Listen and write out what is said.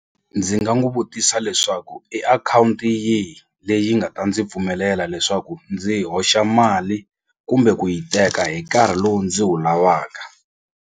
Ndzi nga n'wu vutisa leswaku i akhawunti yihi leyi nga ta ndzi pfumelela leswaku ndzi hoxa mali kumbe ku yi teka hi nkarhi lowu ndzi wu lavaka.